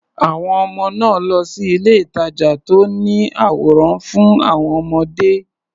Àwọn ọmọ náà á lọ sí ilé-ìtàjà tó ní àwòrán fún àwọn ọmọdé.